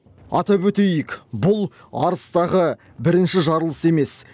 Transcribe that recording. атап өтейік бұл арыстағы бірінші жарылыс емес